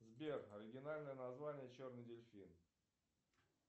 сбер оригинальное название черный дельфин